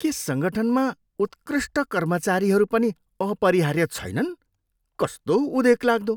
के सङ्गठनमा उत्कृष्ट कर्मचारीहरू पनि अपरिहार्य छैनन्? कस्तो उदेकलाग्दो?